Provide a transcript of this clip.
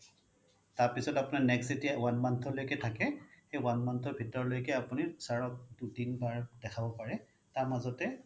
তাৰ পিছত আপোনাৰ next যেতিয়া one month লৈকে থাকে সেই one month ৰ ভিতৰলৈকে আপুনি sir ক দুই তিন বাৰলৈকে দেখাব পাৰে তাৰ মাজতে